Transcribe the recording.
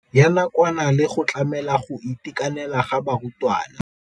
Ya nakwana le go tlamela go itekanela ga barutwana.